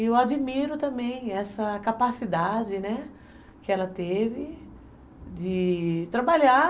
E eu admiro também essa capacidade, né, que ela teve de trabalhar.